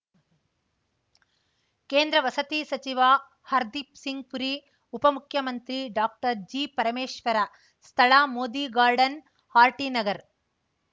ಕೇಂದ್ರ ವಸತಿ ಸಚಿವ ಹರ್ದಿಪ್‌ ಸಿಂಗ್‌ ಪುರಿ ಉಪ ಮುಖ್ಯಮಂತ್ರಿ ಡಾಕ್ಟರ್ಜಿಪರಮೇಶ್ವರ ಸ್ಥಳ ಮೋದಿ ಗಾರ್ಡನ್‌ ಆರ್‌ಟಿನಗರ್